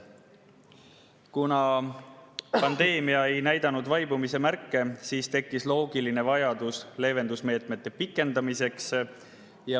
Kuna pandeemia ei näidanud vaibumise märke, siis tekkis loogiline vajadus leevendusmeetmete pikendamiseks.